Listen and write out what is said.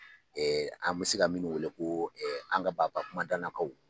An bɛ se ka minnu wele ko an ka baba kumandannakaw